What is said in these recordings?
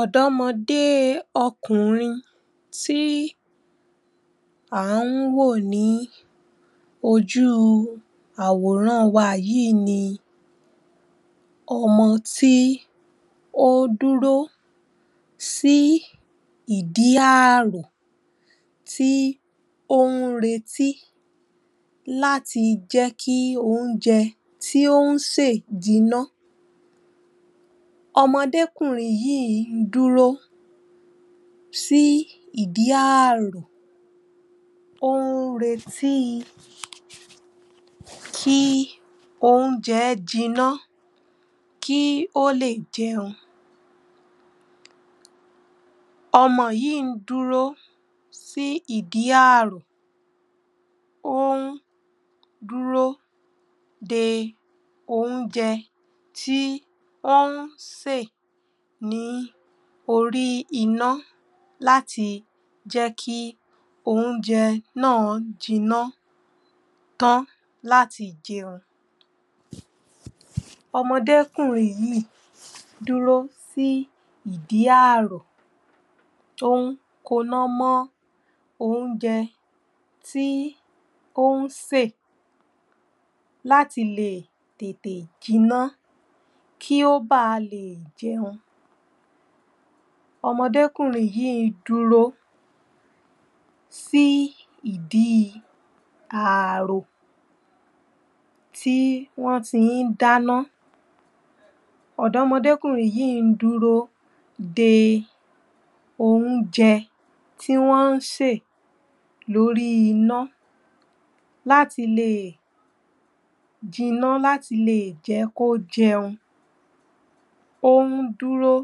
ọ̀dọ́mọdé ọkùnrin tí à ń wò ní ojú àwòrán wa yìí ni ọmọ tí ó dúró sí ìdí àrò tí ó ń retí láti jẹ́ kí oúnjẹ tí ó sè jinná ọmọdékùnrin yìí ń dúró sí ìdí àrò ó ń retí kí oúnjẹ jinná kí ó lè jẹun ọmọ yìí ń dúró sí ìdí àrò ó ń dúró de oúnjẹ tí ó ń sè ní orí iná láti jẹ́ kí oúnjẹ náà jinná tán láti jẹun ọmọdékùnrin yìí ń dúró sí ìdí àrò tó ń koná mọ́ oúnjẹ tí ó ń sè láti lè tètè jinná kí ó ba lè jẹun ọmọdékùnrin yìí ń dúró sí ìdí àrò tí wọ́n ti ń dáná ọmọdékùnrin yìí ń dúró de oúnjẹ tí wọ́n ń sè lórí iná láti lè jinná, láti lè jẹ́ kó jẹun ó ń dúró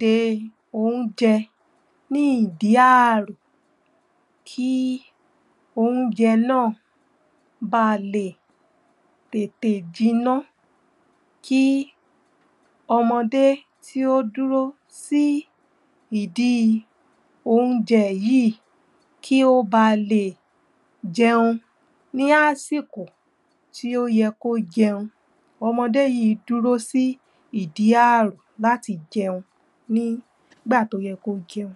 de oúnjẹ ní ìdí àrò kí oúnjẹ náà ba lè tètè jinná kí ọmọdé tí ó dúró sí ìdí oúnjẹ yìí kí ó ba lè jẹun ní àsìkò tí ó yẹ kó jẹun ọmọdé yìí dúró sí ìdí àrò láti jẹun ní ìgbà tó yẹ kó jẹun